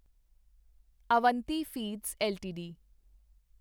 Avanti feeds LTD